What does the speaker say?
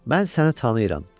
mən sənə tanıyıram," dedi.